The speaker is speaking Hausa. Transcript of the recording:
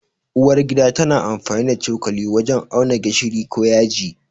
Uwar gida tana amfani da cokali wajen auna gishiri ko yaji.